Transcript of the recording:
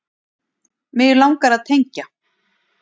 Mig langar að tengja.